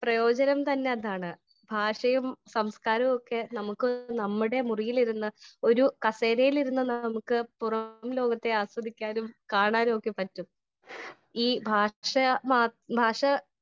Speaker 1 പ്രയോജനം തന്നെ അതാണ് ഭാഷയും സംസ്കാരവുമൊക്കെ നമുക്ക് നമ്മുടെ മുറിയിലിരുന്ന് ഒരു കസേരയില് ഇരുന്ന് നമുക്ക് പുറം ലോകത്തെ ആസ്വദിക്കാനും കാണാനും ഒക്കെ പറ്റും . ഈ ഭാഷ ഭാഷ